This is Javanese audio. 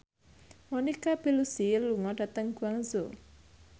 Monica Belluci lunga dhateng Guangzhou